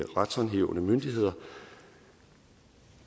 retshåndhævende myndigheder